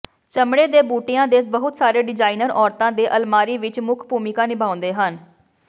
ਚਮੜੇ ਦੇ ਬੂਟਿਆਂ ਦੇ ਬਹੁਤ ਸਾਰੇ ਡਿਜ਼ਾਇਨਰ ਔਰਤਾਂ ਦੇ ਅਲਮਾਰੀ ਵਿਚ ਮੁੱਖ ਭੂਮਿਕਾ ਨਿਭਾਉਂਦੇ ਹਨ